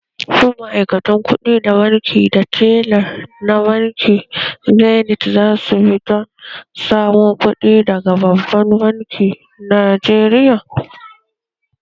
Shin ma’aikatan kuɗi da tella na bankin zenith za su bi don samo kuɗi daga babban bankin Najeriya?